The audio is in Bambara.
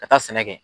Ka taa sɛnɛ kɛ